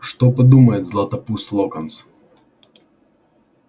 что подумает златопуст локонс